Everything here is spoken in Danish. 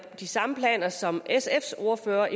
de samme planer som sfs ordfører